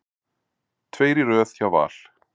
Tveir í röð hjá Val